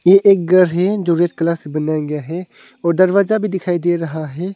ये एक घर है जो रेड कलर से बनाया गया है और दरवाजा भी दिखाई दे रहा है।